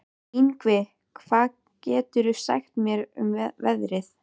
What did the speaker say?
Yngvi, hvað geturðu sagt mér um veðrið?